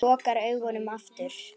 Lokar augunum aftur.